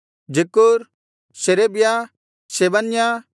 ಜಕ್ಕೂರ್‍ ಶೇರೇಬ್ಯ ಶೆಬನ್ಯ